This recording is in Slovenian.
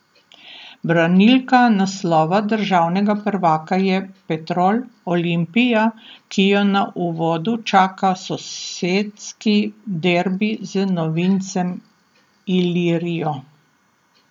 Branilka naslova državnega prvaka je Petrol Olimpija, ki jo na uvodu čaka sosedski derbi z novincem Ilirijo.